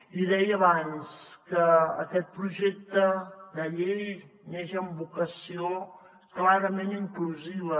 i deia abans que aquest projecte de llei neix amb vocació clarament inclusiva